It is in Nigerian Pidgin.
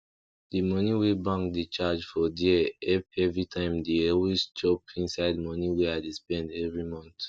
di moni wey bank dey charge for dere help everytime dey always chop inside moni wey i dey spend every month